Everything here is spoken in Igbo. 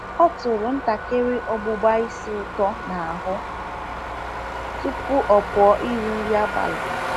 Ọ tụrụ ntakịrị ọgbụbá ísì ūtọ n’ahụ tupu ọ pụọ iri nri abalị.